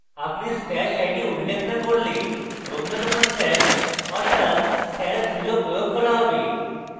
আপনি stash id উল্লেখ না করলে নবীনতম stash অর্থাৎ stash @{0} প্রয়োগ করা হবে